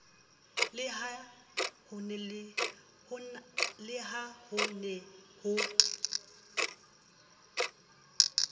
le ha ho ne ho